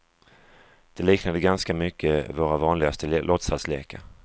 Det liknade ganska mycket våra vanligaste låtsaslekar.